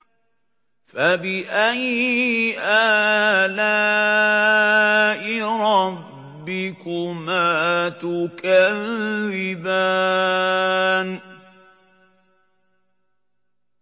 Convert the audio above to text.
فَبِأَيِّ آلَاءِ رَبِّكُمَا تُكَذِّبَانِ